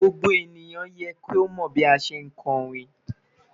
Gbogbo eniyan yẹ ki o mọ bi a ṣe le kọrin